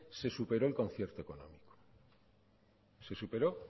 se superó el concierto se superó